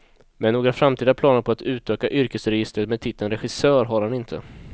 Men några framtida planer på att utöka yrkesregistret med titeln regissör, har han inte.